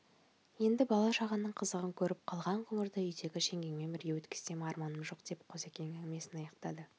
енді бала-шағаның қызығын көріп қалған ғұмырды үйдегі жеңгеңмен бірге өткізсем арманым жоқ деп қозыкең әңгімесін аяқтады